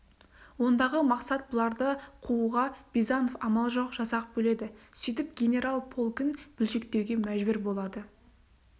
ондағы мақсат бұларды қууға бизанов амал жоқ жасақ бөледі сөйтіп генерал полкін бөлшектеуге мәжбүр болады